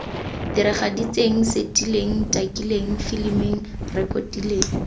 diragaditseng setileng takileng filimileng rekotileng